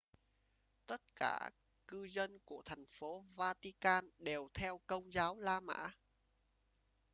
tất cả cư dân của thành phố vatican đều theo công giáo la mã